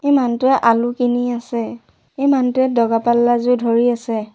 এই মানুহটোৱে আলু কিনি আছে এই মানুহটোৱে দগা পাল্লা যোৰ ধৰি আছে।